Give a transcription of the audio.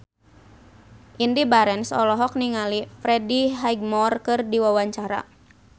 Indy Barens olohok ningali Freddie Highmore keur diwawancara